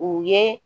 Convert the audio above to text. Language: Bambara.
U ye